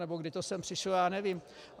Nebo kdy to sem přišlo, já nevím.